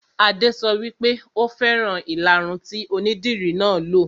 Adé sọ wípé "Ò fẹ́ràn ìlaru tí onídìri náà lo '.